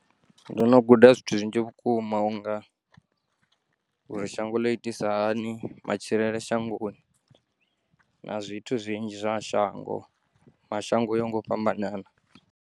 Ndono guda zwithu zwinzhi vhukuma unga uri shango ḽo itisa hani matshilele shangoni na zwithu zwinzhi zwa shango mashango uya ngo fhambanana.